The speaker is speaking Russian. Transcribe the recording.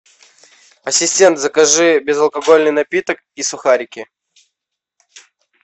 ассистент закажи безалкогольный напиток и сухарики